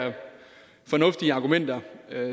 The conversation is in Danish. fornuftige argumenter